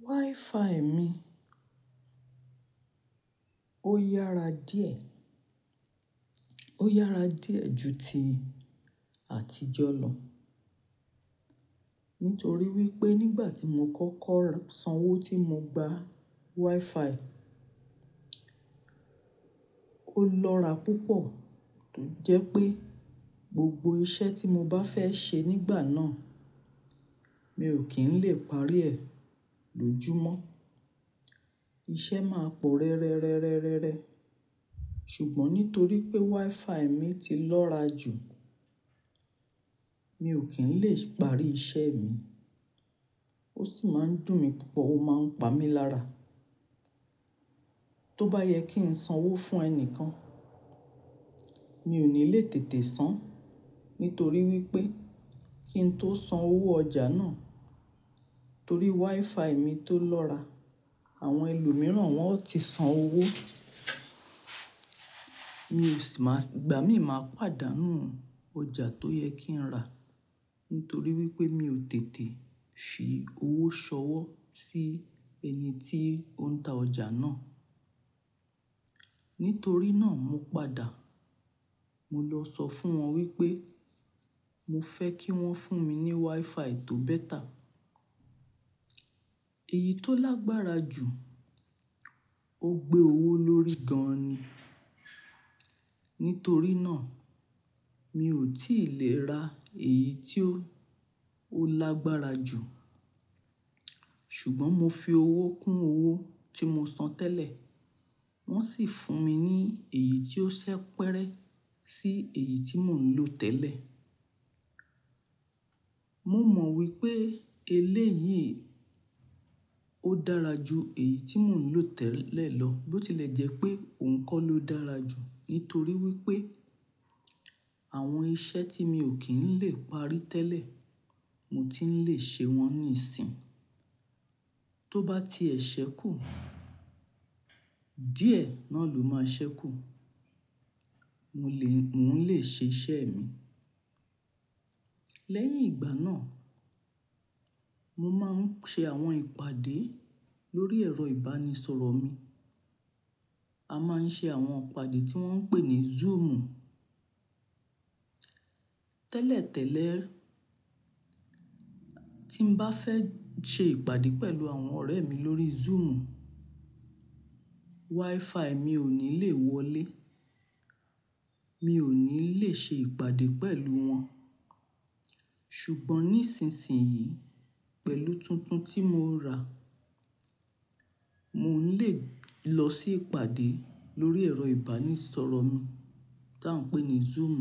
WiFi mi ó yára díẹ̀, ó yára díẹ̀ ju ti àtijọ́ lọ. Nítorí wípé nígbà tí mo kọ́kọ́ sanwó tí mo gba WiFi ó lọ́ra púpọ̀ tó jẹ pé gbogbo iṣẹ́ tí mo bá fẹ́ ṣe nígbà náà mi ò kí ń lè parí ẹ̀ lójúmọ́. Iṣẹ́ máa pò rẹ́rẹ́rẹ́rẹ́rẹ́. Ṣùgbọ́n nítorí pé WiFi mi ti lọ́ra jù mi ò kí ń lè parí iṣẹ́ mi. Ó sì máa ń dùn mí púpọ̀, ó máa ń pa mí lára. Tóbáyẹ kín sanwó fún ẹni kan mi ò ní le tètè san. Nítorí wípé k ín tó san owó ọjà náà torí WiFi mi tó lọ́ra àwọn ẹlòmíràn wọ́n ó ti san owó. Ìgbà mí máa pàdánù ọjà tó yẹ kí n rà. Nítorí wípé mi ò tètè fi owó ṣọwọ́ sí ẹni tí ó ń ta ọjà náà. Nítorí náà mo padà mo lọ sọ fún wọn wípé mo fẹ́ kí wón fún mi ní WiFi tó beta Èyí tó lágbára jù ó gbé owó lórí gan ni. Nítorí náà mi ò tí lè ra èyí tí ó, ó lágbára jù. Ṣùgbọ́n mo fi owó kún owó tí mo san tẹ́lẹ̀ wón sì fún mi ní èyí tí ó ṣẹ́ pẹ́rẹ́ sí èyí tí mò ń lò tẹ́lẹ̀. Mo mọ wípé eléyìí ó dára ju èyí tí mò ń lò tẹ́lẹ̀ lọ. Bó tilẹ̀ jẹ́ pé òun kọ́ ló dára jù nítorí wípé àwọn iṣẹ́ tí mi ò kí ń lè parí tẹ́lẹ̀ mo ti ń lè ṣe wọ́n níìsín. Tó bá tiẹ̀ ṣẹ́ kù díẹ̀ náà ló máa ṣẹ́ kù. Mo lè, mò ń lè ṣe iṣẹ́ mi. Lẹ́yìn ìgbà náà mo máa ń ṣe àwọn ìpàdé lórí ẹ̀rọ ìbánisọ̀rọ̀ mi. A máa ń ṣe àwọn ìpàdé tí wón ń pè ní Zoom. Tẹ́lẹ̀ tẹ́lẹ̀ tí n bá fẹ́ ṣe ìpàdé pẹ̀lú àwọn ọ̀rẹ́ mi lórí Zoom WiFi mi ò ní le wọlé. Mi ò ní lè ṣe ìpàdé pẹ̀lú wọn. Ṣùngbọ́n nísinsìnyí pẹ̀lú tuntun tí mo rà mò ń lè lọ sí ìpàdé lórí ẹ̀rọ ìbánisọ̀rọ̀ mi tí à ń pè ní Zoom.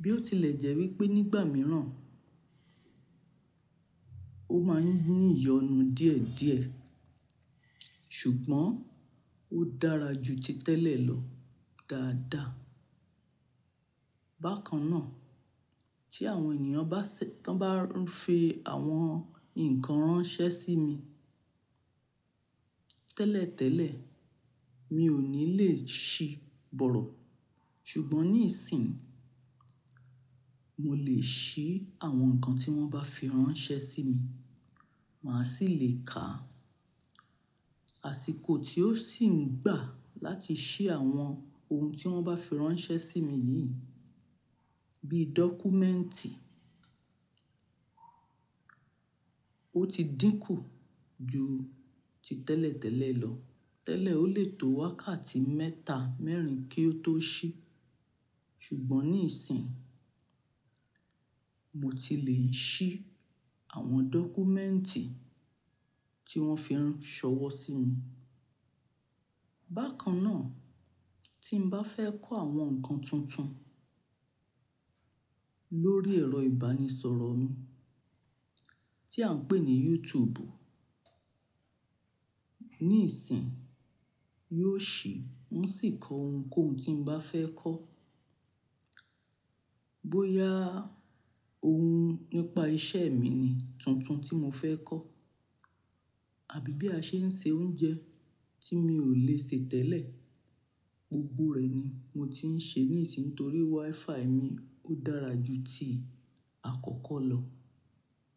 Bí ó tilẹ̀ jẹ́ wípé nígbà mìíràn ó máa ń ní ìyọnu díẹ̀ díẹ̀ ṣùgbọ́n ó dára ju ti tẹ́lẹ̀ lọ dáadáa. Bákan náà tí àwọn ènìyàn bá n fi àwọn nǹkan ránṣẹ́ sí mi. Tẹ́lẹ̀ tẹ́lẹ̀ mi ò ní lè ṣí bọ̀rọ̀. Ṣùngbọ́n níìsín mo lè ṣí àwọn ǹkan tí wón bá fi ránṣẹ́ sí mi. Mà sì lè kà. Àsìkò tí ó sì ń gbà láti ṣí àwọn ohun tí wón bá fi ránṣẹ́ sí mi yìí bíi dọ́kúmẹ́ǹtì ó ti dínkù ju ti tẹ́lẹ̀ tẹ́lẹ̀ lọ. Tẹ́lẹ̀ ó lè tó wákàtí mẹ́ta, mẹ́rin kí ó tó ṣí. Ṣùgbọ́n níìsín mo ti lè ń ṣí àwọn dọ́kúmẹ́ǹtì tí wón fi ránṣọwọ́ sí mi. Bákan náà tí n bá fẹ́ kó àwọn ǹkan tuntun lórí ẹ̀rọ ìbánisọ̀rọ̀ mi tí à ń pè ní YouTube níìsín yóò ṣí, n sì kọ ohun tí n bá fẹ́ kọ́. Bóyá ohun nípa iṣẹ́ mi ni tuntun tí mo fẹ́ kọ́ àbí bí a ṣe ń ṣe oúnjẹ tí mi ò lè ṣe tẹ́lẹ̀ gbogbo rẹ̀ ni mo ti ń ṣe níìsín nítorí WiFi mi ó dára ju ti àkọ́kọ́ lọ.